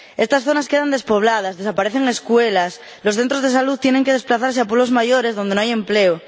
Estas zonas quedan despobladas, desaparecen escuelas, los centros de salud tienen que desplazarse a pueblos mayores donde no hay empleo.